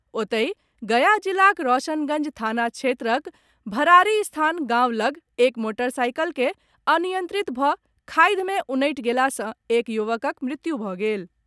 ओतहि, गया जिलाक रौशनगंज थाना क्षेत्रक भरारीस्थान गांव लग एक मोटरसाइकिल के अनियंत्रित भऽ खाधि मे उनटि गेला सॅ एक युवकक मृत्यु भऽ गेल।